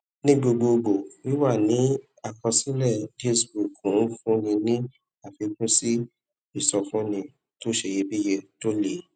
ní gbogbogbo wíwà ní àkọsílẹ dealsbook ń fúnni ní àfikún sí ìsọfúnni tó ṣeyebíye tó lè